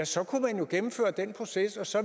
så kunne man jo gennemføre den proces og så